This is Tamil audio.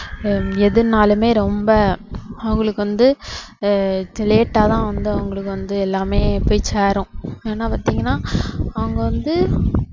எதுன்னாலுமே ரொம்ப அவங்களுக்கு வந்து ஆஹ் late ஆ தான் வந்து அவங்களுக்கு வந்து எல்லாமே போய் சேரும் ஏன்னா பாத்தீங்கன்னா அவங்க வந்து